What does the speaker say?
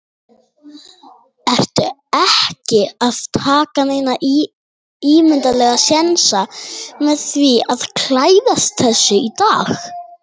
Björn: Ertu ekki að taka neina ímyndarlega sénsa með því að klæðast þessu í dag?